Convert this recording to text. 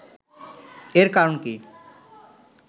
এর কারণ কি